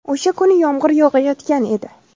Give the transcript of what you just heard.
O‘sha kuni yomg‘ir yog‘ayotgan edi.